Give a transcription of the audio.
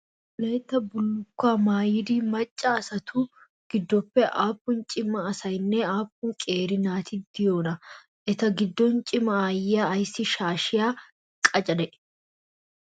Wolayitta bullukuwaa maayida macca asatu gidoon aapun cima asayinne aapuun qeeri naati de'iyoona? Eta gidoon cima aayiyaa ayssi shaashiyaa qacade?